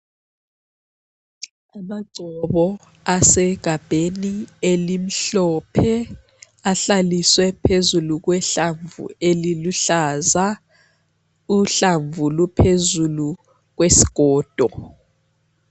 Amagcobo asegabheni elimhlophe ahlaliswe phezulu kwehlamvu eliluhlaza uhlamvu luphezulu kwesigodo.